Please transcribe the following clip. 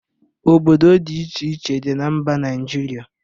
Obodo dị iche iche dị na mba Naịjirịa